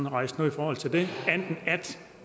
rejst noget i forhold til det at